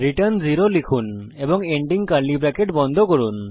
return 0 লিখুন এবং ending curly bracket বন্ধ করুন